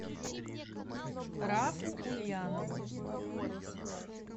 рафу ульянову